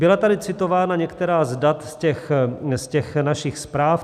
Byla tady citována některá z dat z těch našich zpráv.